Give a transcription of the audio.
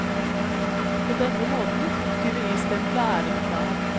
På denne måten tok tyveristempelet æren fra ham.